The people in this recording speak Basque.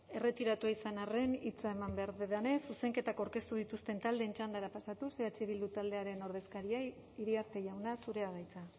erretiratua izan arren hitza eman behar dudanez zuzenketak aurkeztu dituzten taldeen txandara pasatuz eh bildu taldearen ordezkaria iriarte jauna zurea da hitza